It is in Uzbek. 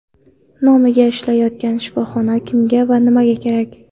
Nomiga ishlayotgan shifoxona kimga va nimaga kerak?.